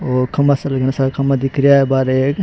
और खम्भा सा घणा सारा खम्भा दिख रिया है बारह एक ।